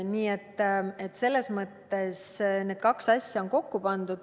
Nii et selles mõttes on kaks asja kokku pandud.